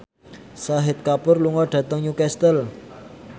Shahid Kapoor lunga dhateng Newcastle